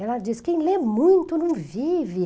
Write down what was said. Ela diz, quem lê muito não vive.